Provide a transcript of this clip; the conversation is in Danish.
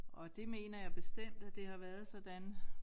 Og det mener jeg bestemt at det har været sådan